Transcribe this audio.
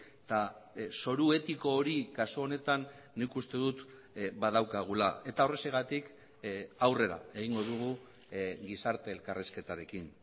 eta zoru etiko hori kasu honetan nik uste dut badaukagula eta horrexegatik aurrera egingo dugu gizarte elkarrizketarekin